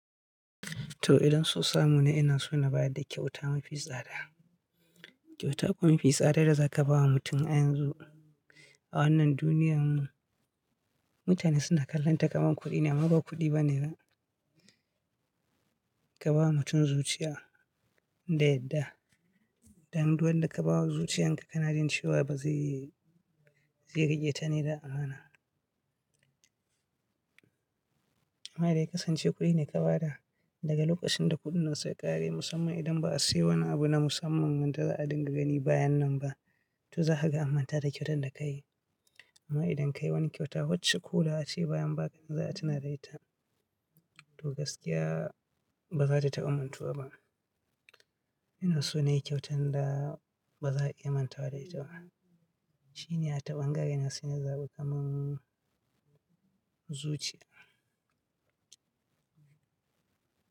To idan so samu na ina so na ba da kyauta mafi tsada. Kyauta kuma mafi tsadar da za ka ba wa mutum a yanzu, a wannan duniyarmu, mutane suna kallonta kamar kuɗi ne amma ba kuɗi ba ne da ka ba wa mutum zuciya, da yadda, dan duk wan da ka ba wa zuciyan ka kanajin cewa ba zai iya riketa ne da amana. Amma idan kasance kuɗi ne ka bada, daga lokacin da kuɗin nan suka ƙare musamman idan ba a saye wani abu na musamman wanda za'a dinga gani bayan nan ba, to za ka ga ammanta da kyautan da ka yi. Amma idan ka yi wani kyauta wacce ko da ace bayan baƙanan za'a tuna da ita, to gaskiya ba za ta taɓa mantuwa ba. Ina so na yi kyautan da ba za'a iya mantawa da ita ba, shine a taɓangaren da suna zaɓi kamar zuciya.